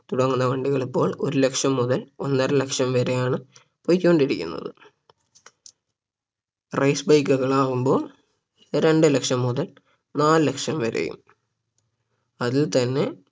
തുടങ്ങുന്ന വണ്ടി ഇപ്പോൾ ഒരു ലക്ഷം മുതൽ ഒന്നര ലക്ഷം വരെയാണ് പോയിക്കൊണ്ടിരിക്കുന്നത് Race bike കളാകുമ്പോൾ രണ്ട് ലക്ഷം മുതൽ നാല് ലക്ഷം വരെയും അതിൽ തന്നെ